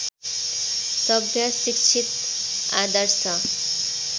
सभ्य शिक्षित आदर्श